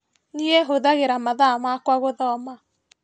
Niĩ hũthagĩra mathaa makwa gũthoma.